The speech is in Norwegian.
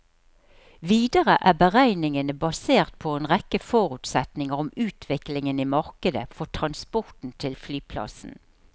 Videre er beregningene basert på en rekke forutsetninger om utviklingen i markedet for transporten til flyplassen.